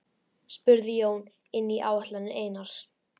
spurði Jón inn í áætlanir Einars.